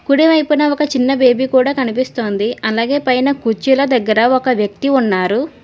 కుడివైపున ఒక చిన్న బేబీ కూడ కనిపిస్తుంది అలాగే పైన కుర్చీలు దగ్గర ఒక వ్యక్తి ఉన్నారు.